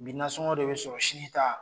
Bi nansɔngɔ de be sɔrɔ sini ta